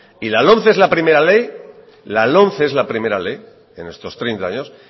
y la lomce es la primera ley en estos treinta años